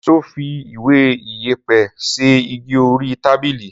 Sọ fí ìwé ìyẹpẹ sẹ ìgí òrí tàbílì?